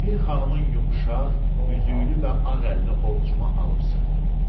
Bir xanımın yumşaq, üzüklü və ağ əlini ovcuma alıb sıxdım.